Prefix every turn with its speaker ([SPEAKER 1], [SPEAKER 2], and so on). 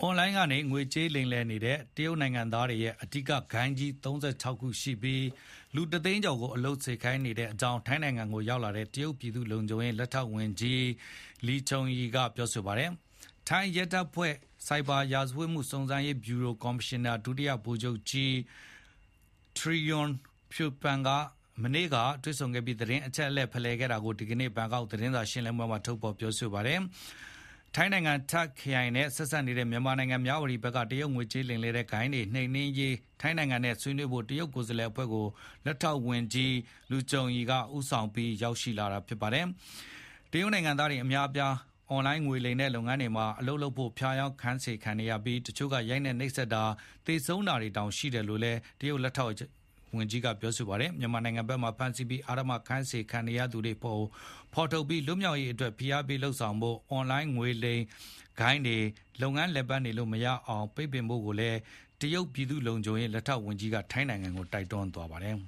[SPEAKER 1] အွန်လိုင်းကနေငွေကြေးလိမ်လည်နေတဲ့ တရုတ်နိုင်ငံသားတွေရဲ့ အဓိကဂိုဏ်းကြီး ၃၆ ခု ရှိပြီး လူတသိန်း ကျော်ကို အလုပ်ခိုင်းစေနေကြောင်း ထိုင်းနိုင်ငံကိုရောက်လာတဲ့ တရုတ်ပြည်သူ့လုံခြုံရေး လက်ထောက်ဝန်ကြီး Liu Zhongyi (လျို ကျုံရီ) က ပြောပါတယ်။ထိုင်းရဲတပ်ဖွဲ့ ဆိုက်ဘာရာဇဝတ်မှု စုံစမ်းရေးဗျူရိုကော်မရှင်နာ ဒုတိယဗိုလ်ချုပ်ကြီး Trairong Phiwpan (ထရီရွန် ဖီဝပန်) နဲ့ မနေ့က တွေ့ဆုံပြီး သတင်းအချက်အလက်ဖလှယ်ခဲ့တာကို ဒီနေ့ထုတ် ဘန်ကောက်ပို့စ် သတင်းစာမှာ ရေးသားထားပါတယ်။ ထိုင်းနိုင်ငံ Tak ခရိုင်နဲ့ဆက်စပ်နေတဲ့ မြန်မာနိုင်ငံ မြဝတီနယ်ထဲက တရုတ်ငွေကြေးလိမ်လည်တဲ့ဂိုဏ်းတွေ နှိမ်နှင်းရေး ထိုင်းနိုင်ငံနဲ့ဆွေးနွေးဖို့ တရုတ်ကိုယ်စားလှယ်အဖွဲ့ကို လက်ထောက်ဝန်ကြီး Liu Zhongyi (လျို ကျုံရီ) က ဦးဆောင်ပြီး ရောက်လာတာပါ။ တရုတ်နိုင်ငံသားအများအပြား အွန်လိုင်းငွေလိမ်လည်တဲ့လုပ်ငန်းတွေမှာ အလုပ်လုပ်ဖို့ ဖျားယောင်း ခိုင်းစေခံနေရပြီး တချို့ ရိုက်နှက်နှိပ်စက်ခံရတာ၊ သေဆုံးခဲ့တာတွေတောင် ရှိတယ်လို့လည်း တရုတ်လက်ထောက်ဝန်ကြီးက ပြောပါတယ်။ မြန်မာနိုင်ငံနယ်ဘက်မှာဖမ်းဆီးပြီး အဓမ္မအခိုင်းခံနေရတဲ့သူတွေကို ဖေါ်ထုတ်ပြီး လွတ်မြောက်ရေးအတွက် ဖိအားပေးလုပ်ဆောင်ဖို့၊ အွန်လိုင်းငွေလိမ်ဂိုဏ်းတွေ လုပ်ငန်းလည်ပတ်လို့ မရအောင် ပိတ်ပင်ဖို့လည်း တရုတ် တရုတ် ပြည်သူ့လုံခြုံရေး လက်ထောက် ဝန်ကြီးက ထိုင်းနိုင်ငံကို တိုက်တွန်းသ
[SPEAKER 2] ွားပါတယ်